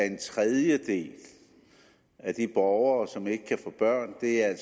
en tredjedel af de borgere som ikke kan få børn er